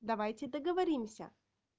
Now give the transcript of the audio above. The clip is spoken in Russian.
давайте договоримся